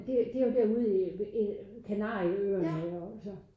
Det det jo derude i ved Kanarieøerne og så